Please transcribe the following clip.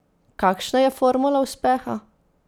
Kakšna je formula uspeha?